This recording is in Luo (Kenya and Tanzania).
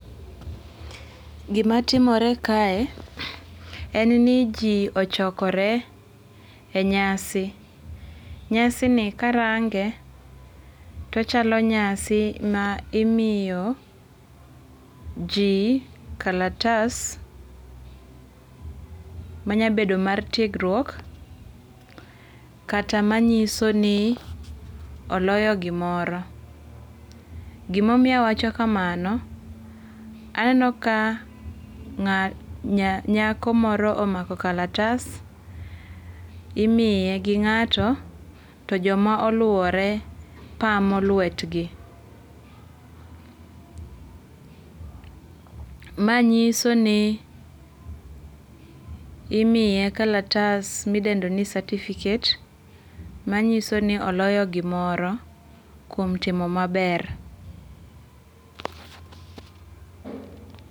Gima timore kae en ni ji ochokore e nyasi. Nyasi ni karange to ochalo nyasi ma imiyo ji kalatas manyabedo mar tiegruok kata manyiso ni oloyo gimoro. Gimomiyo awacho kamano, aneno ka nyako moro omako kalatas. Imiye gi ng'ato to joma oluwore pamo lwetgi. Ma nyiso ni imiye kalatas midendo ni certificate manyiso ni oloyo gimoro kuom timo maber.